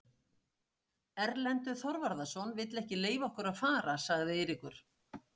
Erlendur Þorvarðarson vill ekki leyfa okkur að fara, sagði Eiríkur.